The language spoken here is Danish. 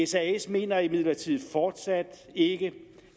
sas mener imidlertid fortsat ikke